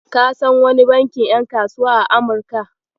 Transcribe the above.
Ka san wani bankin ƴan kasuwa a Amurka?